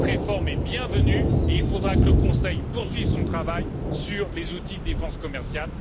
Cette réforme est bienvenue et il faudra que le Conseil poursuive son travail sur les outils de défense commerciale.